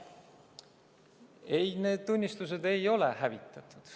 Ei, need tunnistused ei ole hävitatud.